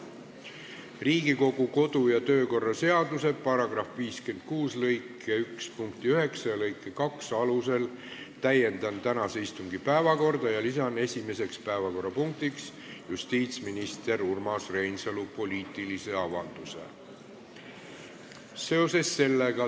Riigikogu kodu- ja töökorra seaduse § 56 lõike 1 punkti 9 ja lõike 2 alusel täiendan tänase istungi päevakorda ja lisan esimeseks päevakorrapunktiks justiitsminister Urmas Reinsalu poliitilise avalduse.